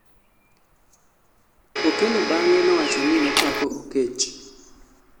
Okello bang'e nowacho ni nopako oketch